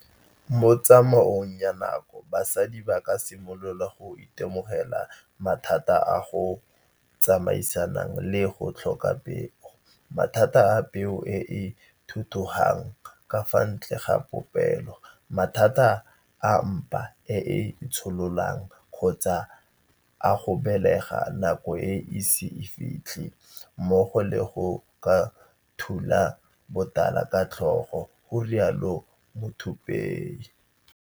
Mo tsamaong ya nako basadi ba ka simolola go itemogela mathata a a tsamaisanang le go tlhoka peo, mathata a peo e e thuthugang ka fa ntle ga popelo, mathata a mpa e e itshololang kgotsa a go belega nako e ise e fitlhe mmogo le go ka thula botala ka tlhogo, garialo Muthuphei.